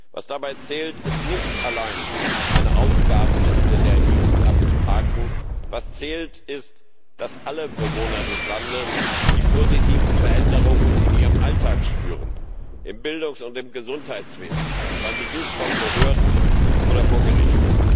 Was dabei zählt, ist nicht allein, eine Aufgabenliste der EU abzuhaken, was zählt, ist, dass alle Bewohner des Landes die positiven Veränderungen in ihrem Alltag spüren, im Bildungs und im Gesundheitswesen, beim Besuch von Behörden oder vor Gericht.